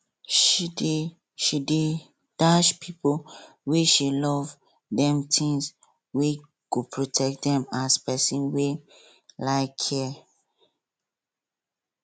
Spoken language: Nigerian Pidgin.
she dey she dey dash people wey she love dem tins wey go protect dem as person wey um care